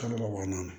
Kalo wɔɔrɔnan